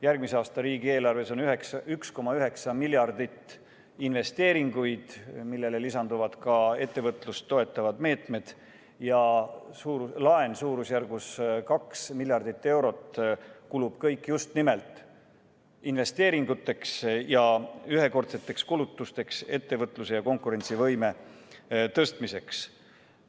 Järgmise aasta riigieelarves on 1,9 miljardit investeeringuid, millele lisanduvad ka ettevõtlust toetavad meetmed, ja laen suurusjärgus 2 miljardit eurot, mis kulub kõik just nimelt investeeringuteks ja ühekordseteks kulutusteks ettevõtluse ja konkurentsivõime tõstmiseks.